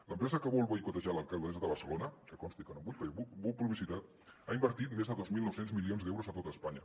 l’empresa que vol boicotejar l’alcaldessa de barcelona que consti que no en vull fer publicitat ha invertit més de dos mil nou cents milions d’euros a tot espanya